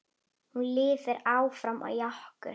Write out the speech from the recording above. Hún lifir áfram í okkur.